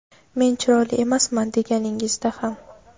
men chiroyli emasman deganingizda ham.